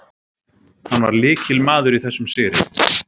Hann var lykilmaður í þessum sigri.